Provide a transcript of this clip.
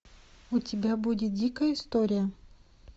у тебя будет дикая история